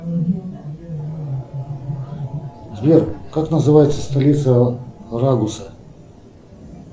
сбер как называется столица рагуса